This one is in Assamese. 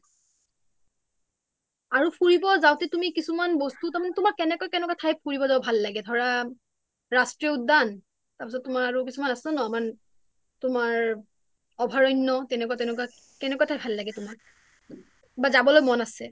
আৰু ফুৰিব যাওঁতে কিছুমান বস্তু তাৰ মানে তোমাৰ কেনেকুৱা কেনেকুৱা ঠাইত ফুৰিব যাব ভাল লাগে ৰাষ্ট্ৰীয় উদ্যান তাৰ পিছত তোমাৰ আৰু কিছুমান আছে ন আমাৰ তোমাৰ অভাৰণ্যো তেনেকুৱা তেনেকুৱা, কেনেকুৱা ঠাই ভাল লাগে তোমাৰ বা যাবলৈ মন আছে